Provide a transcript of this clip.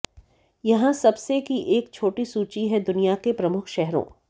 यहां सबसे की एक छोटी सूची है दुनिया के प्रमुख शहरों